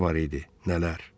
Nələr var idi, nələr.